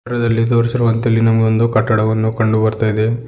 ಚಿತ್ರದಲ್ಲಿ ತೋರಿಸಿರುವಂತೆ ಇಲ್ಲಿ ನಮಗೊಂದು ಕಟ್ಟಡವನ್ನು ಕಂಡು ಬರ್ತಾ ಇದೆ.